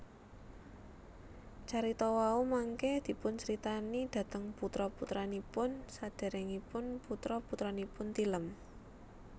Carita wau mangké dipuncritani dhateng putra putranipun sadèrèngipun putra putranipun tilem